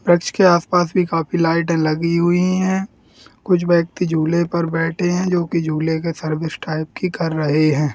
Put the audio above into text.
Church के आसपास भी काफी लाइटे लगी हुई हैं | कुछ व्यक्ति झुले पर बैठे हैं जो की झूले के सर्विस टाइप की कर रहे हैं ।